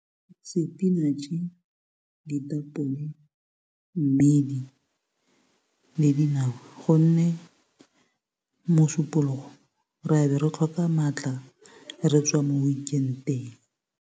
Sepinatšhe, ditapole, mmidi le dinawa gonne mosupologo ra be re tlhoka maatla, re tswa mo weekend-eng.